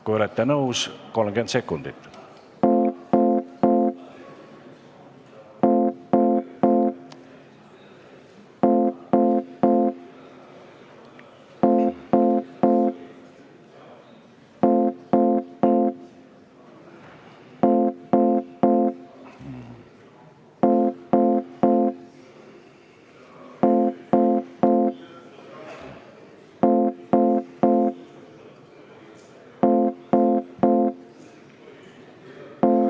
Kui olete nõus, siis 30 sekundit.